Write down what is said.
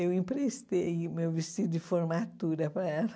Eu emprestei o meu vestido de formatura para ela.